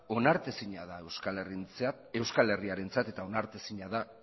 onartezina da euskal herriarentzat eta onartezina da